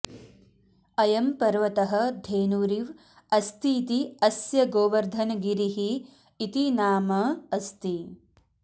अयं पर्वतः धेनुरिव् अस्तीति अस्य गोवर्धनगिरिः इति नाम अस्ति